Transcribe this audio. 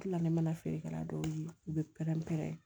Tilalen mana feerekɛla dɔw ye u bɛ pɛrɛn pɛrɛn